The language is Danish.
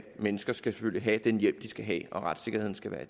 mennesker selvfølgelig skal have den hjælp de skal have og at retssikkerheden skal være